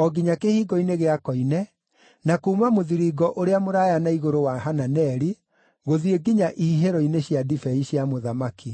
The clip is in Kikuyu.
o nginya Kĩhingo-inĩ gĩa Koine, na kuuma mũthiringo ũrĩa mũraaya na igũrũ wa Hananeli gũthiĩ nginya ihihĩro-inĩ cia ndibei cia mũthamaki.